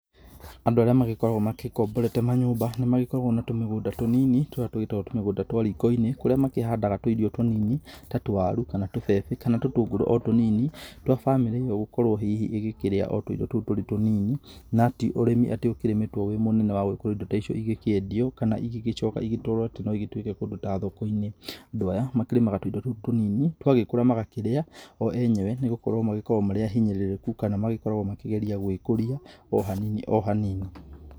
Andũ arĩa magĩkoragwo magĩkomborete manyũmba nĩ magĩkoragwo na tũmigũnda tũnini tũrĩa tũgĩtagwo tũmigũnda twa riko-inĩ kũrĩa makĩhandaga tũirio tũnini ta tũwarũ, kana tũbebe kana tũtũngũrũ o tũnini twa bamĩrĩ ĩyo gũkorwo hihi ĩgĩkĩrĩa o tũirio tũu tũrĩ tũnini, na ti ũrĩmi atĩ ũkĩrĩmĩtwo wĩĩ mũnene wa gũgĩkorwo indo icio igĩkĩendio kana igĩgĩcoka igĩtwarwo atĩ no igĩtũĩke kũndũ ta thoko-inĩ. Andũ aya makĩrĩmaga tũindo tũu tũnini tũgagĩkũra magakĩrĩa o enyewe nĩ gũkorwo magĩkoragwo marĩ ahinyĩrĩrĩkũ kana magĩkoragwo makĩgeria gwĩkũria o hanini o hanini.